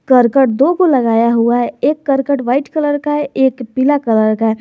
करकट दोगो लगाया हुआ है एक करकट व्हाइट कलर का है एक पीला कलर का है।